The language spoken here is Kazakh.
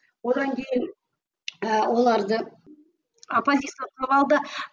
одан кейін ііі оларды